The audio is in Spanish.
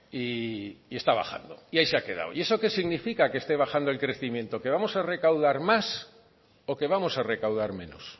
y está bajando y ahí se ha quedado y eso que significa que esté bajando el crecimiento que vamos a recaudar más o que vamos a recaudar menos